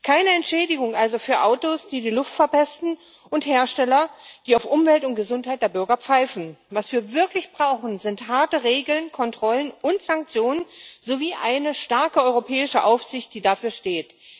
Keine Entschädigung also für Autos, die die Luft verpesten, und Hersteller, die auf Umwelt und Gesundheit der Bürger pfeifen. Was wir wirklich brauchen sind harte Regeln, Kontrollen und Sanktionen sowie eine starke europäische Aufsicht, die dafür steht.